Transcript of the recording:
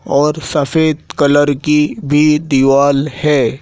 और सफेद कलर की भी दिवाल है।